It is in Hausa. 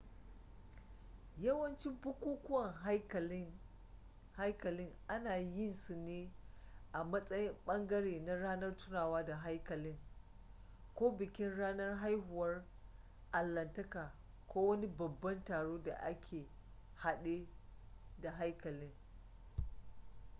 yawancin bukukuwan haikalin ana yin su ne a matsayin ɓangare na ranar tunawa da haikalin ko bikin ranar haihuwar allahntaka ko wani babban taron da ke hade da haikalin